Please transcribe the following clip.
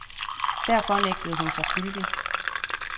Derfor nægtede hun sig skyldig.